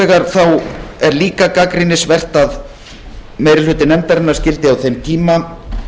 hins vegar er líka gagnrýnisvert að meiri hluti nefndarinnar skyldi á þeim tíma